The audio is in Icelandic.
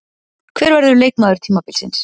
Hver verður leikmaður tímabilsins?